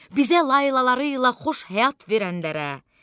Bizə laylalarıyla xoş həyat verənlərə.